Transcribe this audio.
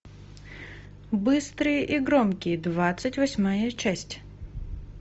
быстрые и громкие двадцать восьмая часть